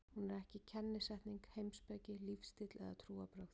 Hún er ekki kennisetning, heimspeki, lífstíll eða trúarbrögð.